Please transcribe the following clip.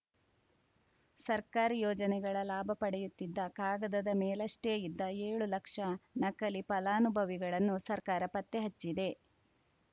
ಸರ್ಕಾರಿ ಯೋಜನೆಗಳ ಲಾಭ ಪಡೆಯುತ್ತಿದ್ದ ಕಾಗದದ ಮೇಲಷ್ಟೇ ಇದ್ದ ಏಳು ಲಕ್ಷ ನಕಲಿ ಫಲಾನುಭವಿಗಳನ್ನು ಸರ್ಕಾರ ಪತ್ತೆ ಹಚ್ಚಿದೆ